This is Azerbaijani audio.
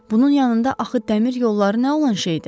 Bunun yanında axı dəmir yolları nə olan şeydir?